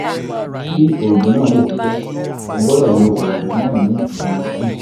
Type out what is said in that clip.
kí oògùn náà lè ṣiṣẹ́ o gbọ́dọ̀ lo oògùn náà ní ìwọ̀n two